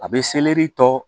A bɛ selɛri tɔ